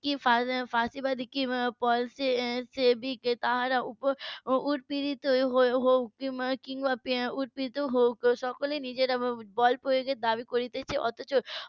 কি ফ্যাসিবাদী কি . তার উপর উৎপীড়িত হয়ে কিংবা উৎপীড়িত হোক সকলে নিজেরা বলপ্রয়োগের দাবি করছে অথচ